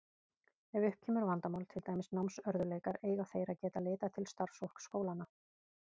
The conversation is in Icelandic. Ef upp kemur vandamál, til dæmis námsörðugleikar, eiga þeir að geta leitað til starfsfólks skólanna.